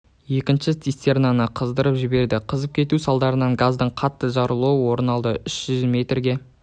екінші цистернаны қыздырып жіберді қызып кету салдарынан газдың қатты жарылуы орын алды үш жүз метрге